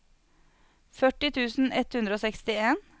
førti tusen ett hundre og sekstien